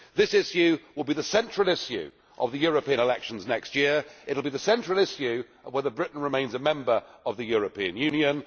This issue will be the central issue of the European elections next year. It will be the central issue of whether Britain remains a member of the European Union.